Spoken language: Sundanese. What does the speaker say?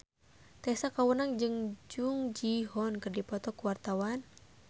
Tessa Kaunang jeung Jung Ji Hoon keur dipoto ku wartawan